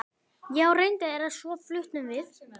Já, reyndar, en svo fluttum við.